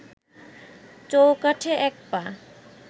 চৌকাঠে এক পা